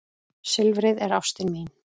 Silfrið er ástin mín.